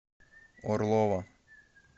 орлова